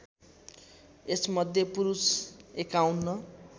यसमध्ये पुरुष ५१